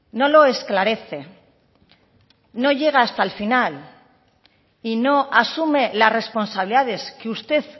no lo esclarece no llega hasta el final si no asume las responsabilidades que usted